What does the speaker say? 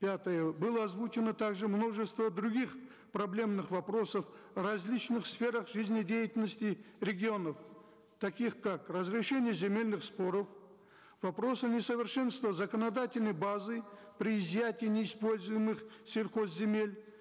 пятое было озвучено также множество других проблемных вопросов в различных сферах жизнедеятельности регионов таких как разрешение земельных споров вопросы несовершенства законодательной базы при изъятии неиспользуемых сельхозземель